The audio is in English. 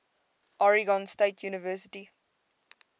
oregon state university